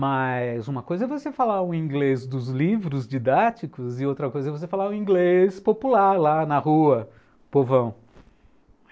Mas uma coisa é você falar o inglês dos livros didáticos e outra coisa é você falar o inglês popular lá na rua, povão.